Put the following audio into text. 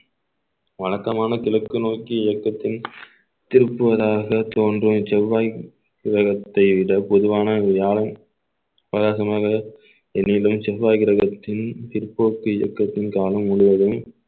வழக்கமான கிழக்கு நோக்கி இயக்கத்தின் திருப்புவதாக தோன்றும் செவ்வாய் கிரகத்தை விட பொதுவான வியாழன் பிரகாசமாக என்னிலும் செவ்வாய் கிரகத்தில் பிற்போக்கு இயக்கத்தின் காலம் முழுவதும்